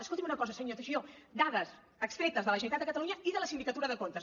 escolti’m una cosa senyor teixidó dades extretes de la generalitat de catalunya i de la sindicatura de comptes